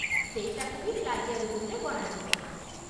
ସେଇଟାକୁ ବି ପ୍ଲାଜିଆରିଜିମ୍‌ରେ ଗଣାଯିବ ।